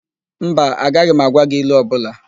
Mba, agaghị m agwa gị ilu ọbụla.